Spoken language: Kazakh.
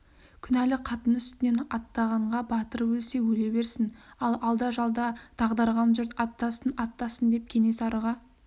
күнәлі қатын үстінен аттағанға батыр өлсе өле берсін ал алда-жалда дағдарған жұрт аттасын аттасын деп кенесарыға